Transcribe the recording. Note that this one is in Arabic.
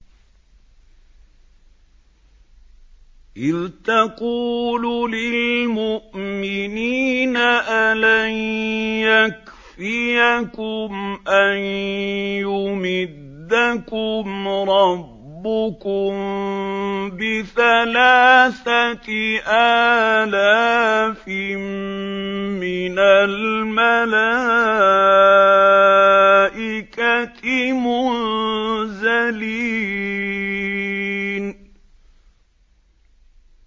إِذْ تَقُولُ لِلْمُؤْمِنِينَ أَلَن يَكْفِيَكُمْ أَن يُمِدَّكُمْ رَبُّكُم بِثَلَاثَةِ آلَافٍ مِّنَ الْمَلَائِكَةِ مُنزَلِينَ